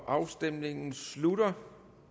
afstemningen slutter